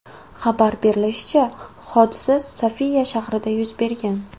Xabar berilishicha, hodisa Sofiya shahrida yuz bergan.